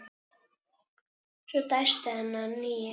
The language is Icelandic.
Svo dæsti hann að nýju.